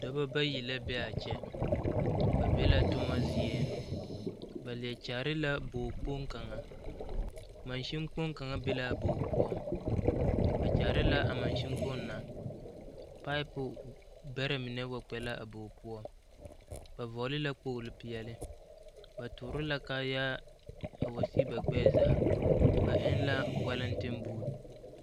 Dɔba bayi la be a kyɛ ba be la toma zie ba leɛ kyaare la bogo kpoŋ kaŋa Masin kpoŋ kaŋa be laa bog poɔ ba kyaare la a masin kpoŋ na paɛɛpo bɛrɛ mine wa kpɛ la a bog poɔ ba vɔgle la kpogle peɛle ba tɔɔre la kaayaa a wa sige ba gbɛɛ zaa ba eŋ la wɛleŋtiŋbuu.